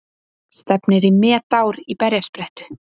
Stefnir í metár í berjasprettu